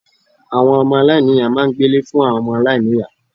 Àwon Ọmọ aláìníìyá máa n gbé Ilé fún àwon omo aláìniya